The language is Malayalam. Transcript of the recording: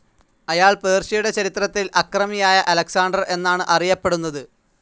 അയാൾ പേർഷ്യയുടെ ചരിത്രത്തിൽ അക്രമിയായ അലക്സാണ്ടർ എന്നാണ് അറിയപ്പെടുന്നത്.